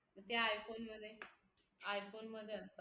त्या i phone मध्ये i phone मध्ये असतात